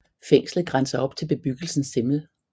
Fængslet grænser op til bebyggelsen Simmel